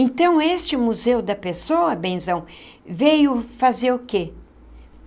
Então, este museu da pessoa, benzão, veio fazer o quê?